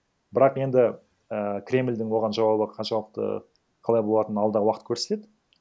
бірақ енді і кремльдің оған жауабы қаншалықты қалай болатыны алдағы уақыт көрсетеді